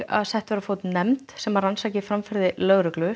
að sett verði á fót nefnd sem rannsaki framferði lögreglu